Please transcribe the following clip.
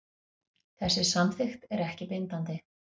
Þessi samþykkt er ekki bindandi